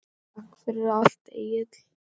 Takk fyrir allt, Egill.